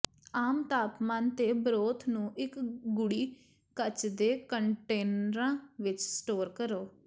ਆਮ ਤਾਪਮਾਨ ਤੇ ਬਰੋਥ ਨੂੰ ਇੱਕ ਗੂੜ੍ਹੀ ਕੱਚ ਦੇ ਕੰਟੇਨਰਾਂ ਵਿੱਚ ਸਟੋਰ ਕਰੋ